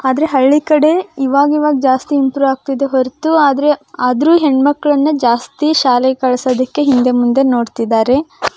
ಆದ್ರೆ ಹಳ್ಳಿ ಕಡೆ ಈವಾಗ ಈವಾಗ ಜಾಸ್ತಿ ಇಂಪ್ರೊ ಆಗ್ತಿದೆ ಹೊರತು ಆದ್ರೆ ಆದ್ರೂ ಹೆಣ್ ಮಕ್ಕಳನ್ನ ಜಾಸ್ತಿ ಶಾಲೆಗೇ ಕಲ್ಸುದಕ್ಕೆ ಹಿಂದೆ ಮುಂದೆ ನೋಡ್ತಿದ್ದಾರೆ.